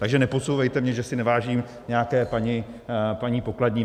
Takže nepodsouvejte mně, že si nevážím nějaké paní pokladní.